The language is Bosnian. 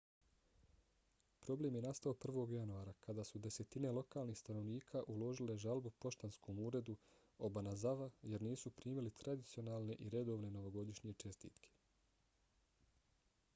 problem je nastao 1. januara kada su desetine lokalnih stanovnika uložile žalbu poštanskom uredu obanazawa jer nisu primili tradicionalne i redovne novogodišnje čestitke